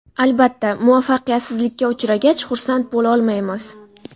Albatta, muvaffaqiyatsizlikka uchragach, xursand bo‘lolmaymiz.